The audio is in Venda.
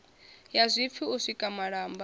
ya zwipfi u sika malamba